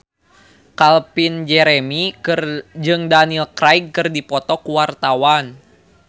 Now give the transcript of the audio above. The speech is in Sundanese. Calvin Jeremy jeung Daniel Craig keur dipoto ku wartawan